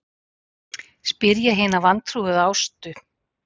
spyr ég hina vantrúuðu Ástu.